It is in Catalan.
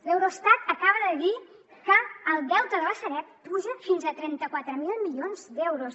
l’eurostat acaba de dir que el deute de la sareb puja fins a trenta quatre mil milions d’euros